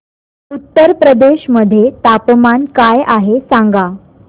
उत्तर प्रदेश मध्ये तापमान काय आहे सांगा